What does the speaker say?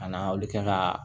A n'a olu kɛ ka